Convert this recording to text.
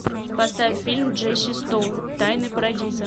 поставь фильм джесси стоун тайны парадиза